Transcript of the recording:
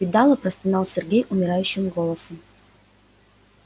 видала простонал сергей умирающим голосом